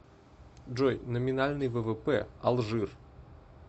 джой номинальный ввп алжир